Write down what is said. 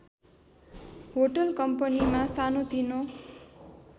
hotel कम्पनीमा सानोतिनो